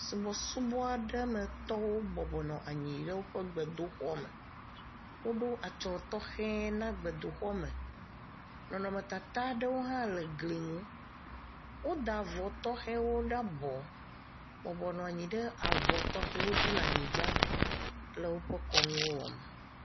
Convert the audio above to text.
Subɔsubɔ aɖe metɔwo bɔbɔnɔ anyi ɖe woƒe gbedoxɔme. Woɖo atsɔ tɔxɛ na gbedoxɔme. Nɔnɔmetata aɖewo hã le gli nu. Woda avɔ tɔxewo ɖe abɔ bɔbɔnɔ anyi ɖe avɔ tɔxewo dzi le anyigba le woƒe kɔnuwo wɔm.